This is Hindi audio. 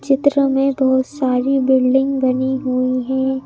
चित्र में बहोत सारी बिल्डिंग बनी हुई हैं।